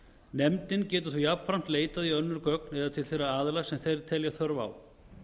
nefndin getur þó jafnframt leitað í önnur gögn eða til þeirra aðila sem þeir telja þörf á